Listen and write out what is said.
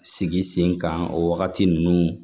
Sigi sen kan o wagati ninnu